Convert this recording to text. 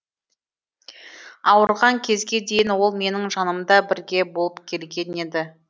ауырған кезге дейін ол менің жанымда бірге болып келген еді